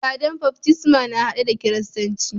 Ibada'n baftisma na hade da kiristanci.